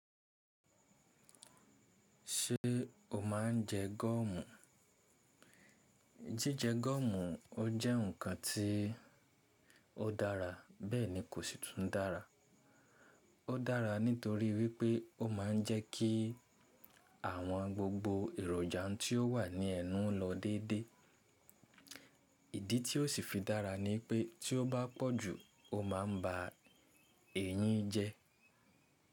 Ṣé o máa ń jẹ gọ́ọ̀mù? Jíjẹ gọ́ọ̀mù, ó jẹ́ ǹkan tí ó dára, bẹ́ẹ̀ ni kò sì tún dára. Ó dára nítorí wípé ó máa ń jẹ́ kí àwọn gbogbo èròjà tí ó wà ní ẹnu lọ dédé. Ìdí tí ó sì fi dára ni pé tí ó bá pọ̀ jù ó ma ba èyín jẹ.